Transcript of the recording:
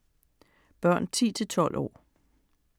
Børn 10-12 år